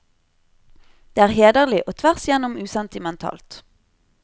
Det er hederlig og tvers igjennom usentimentalt.